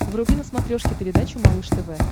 вруби на смотрешке передачу малыш тв